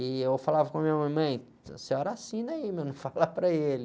E eu falava com a minha mãe, mãe, a senhora assina aí, não fala para ele.